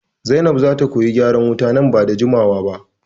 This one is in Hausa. Zainab zata koyi gyaran wuta nan bada jimawa ba